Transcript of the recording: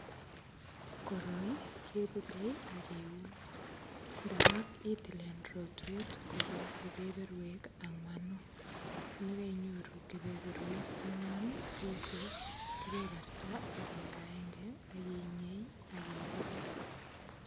Koroi keputei ak kiun ndarok itilen rotwet kobwa kepeperwek angwanu. Negainyoru kepeperwek angwan, isus kepeperta agengagenge ak inyei ak ilugui.